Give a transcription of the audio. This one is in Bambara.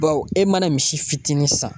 Bawo e mana misi fitinin san